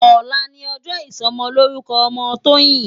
Òlá ni òjò isòmòlórúkò òmò Toyin